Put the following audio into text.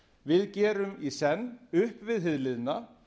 við gerum í senn upp við hið liðna